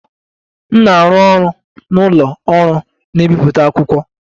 M na-arụ ọrụ na ụlọ ọrụ na-ebi akwụkwọ.